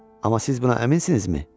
Amma siz buna əminsinizmi?